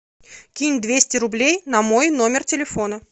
кинь двести рублей на мой номер телефона